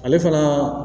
Ale fana